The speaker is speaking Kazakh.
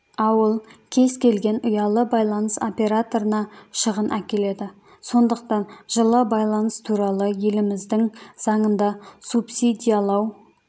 ауыл кез келген ұялы байланыс операторына шығын әкеледі сондықтан жылы байланыс туралы еліміздің заңында субсидиялау